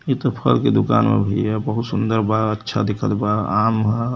ई त फल के दुकान बा भईया। बहुत सुंदर बा अच्छा दिखत बा। आम ह --